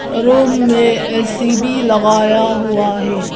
Room मे AC भी लगाया हुआ है।